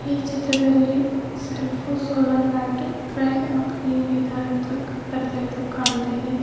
ಈ ಚಿತ್ರದಲ್ಲಿ ಸಲ್ಪೊ ಸೋಲಾರ್ ಲೈಟ್ ಪ್ರೈ ಆ ಲಿ ಬೀದರ್ ಅಂತ ಬರ್ದಿರೊದು ಕಾಣ್ತಾಇದೆ.